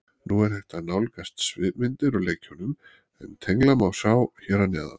Nú er hægt að nálgast svipmyndir úr leikjunum en tengla má sjá hér að neðan.